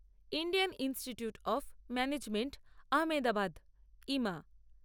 Indian institute of management Ahmedabad Ima